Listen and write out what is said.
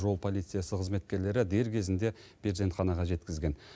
жол полициясы қызметкерлері дер кезінде перзентханаға жеткізген